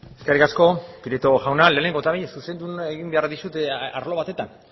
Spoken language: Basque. eskerrik asko prieto jauna lehenengo eta behin zuzendu egin behar dizut arlo batetan